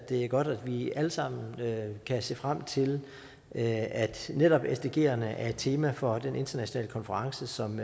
er godt at vi alle sammen kan se frem til at netop sdgerne er et tema for den internationale konference som